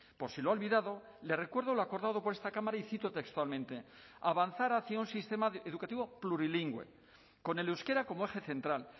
por si lo ha olvidado le recuerdo lo acordado por esta cámara y cito textualmente avanzar hacia un sistema educativo plurilingüe con el euskera como eje central